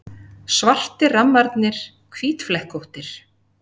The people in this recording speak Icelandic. Svartir rammarnir hvítflekkóttir.